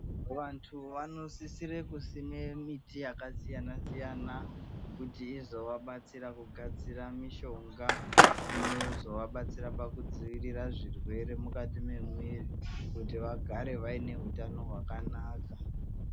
Vanthu vanosisire kusime miti yakasiyana siyana kuti izovabatsira kugadzira mishonga inozovabatsira pakudzivirira zvirwere mukati memwiri kuti vagare vaine utano hwakanaka.